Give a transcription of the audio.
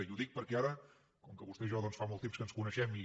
i ho dic perquè ara com que vostè i jo doncs fa molt de temps que ens coneixem i